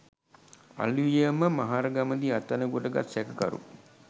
අලුයම මහරගමදී අත්අඩංගුවට ගත් සැකකරු